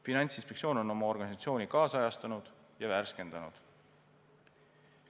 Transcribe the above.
Finantsinspektsioon on oma organisatsiooni kaasajastanud ja värskendanud.